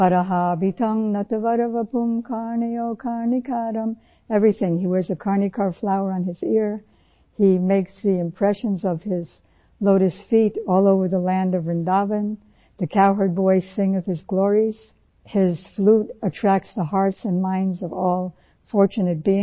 09 Barhapeend natwarvapuh karnayoh karnakaram बर्हापींड नटवरवपुः कर्णयो कर्णिकारं everything, He wears a karnika flower on his ear, He makes the impression of His Lotus feet all over the land of Vrindavan, the cow herds voicing of his Glories, His flute attracts the hearts and minds of all fortunate beings